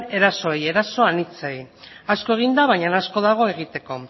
erasoei eraso anitzei asko eginda baina asko dago egiteko